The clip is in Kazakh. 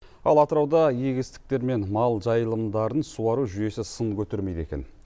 ал атырауда егістіктер мен мал жайылымдарын суару жүйесі сын көтермейді екен